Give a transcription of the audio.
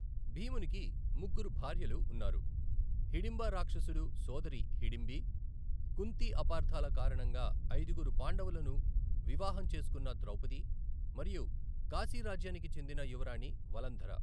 భీమునికి ముగ్గురు భార్యలు ఉన్నారు, హిడింబా రాక్షసడు సోదరి హిడింబి, కుంతి అపార్థాల కారణంగా ఐదుగురు పాండవులను వివాహం చేసుకున్న ద్రౌపది మరియు కాశీ రాజ్యానికి చెందిన యువరాణి వలంధర .